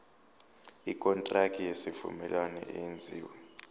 ikontraki yesivumelwano eyenziwe